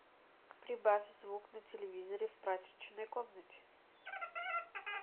прибавь звук на телевизоре в прачечной комнате